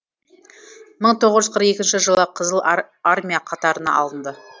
мың тоғыз жүз қырық екінші жылы қызыл армия қатарына алынды